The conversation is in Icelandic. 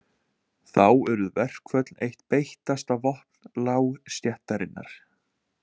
Þá urðu verkföll eitt beittasta vopn lágstéttarinnar.